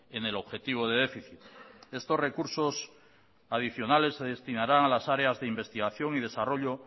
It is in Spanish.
en el objetivo de déficit estos recursos adicionales se destinarán a las áreas de investigación y desarrollo